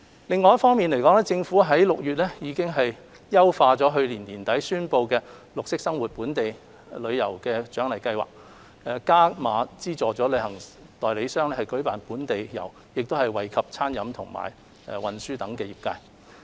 另一方面，政府於6月優化去年年底宣布推出的綠色生活本地遊鼓勵計劃，加碼資助旅行代理商舉辦本地遊，並惠及餐飲和運輸等相關業界。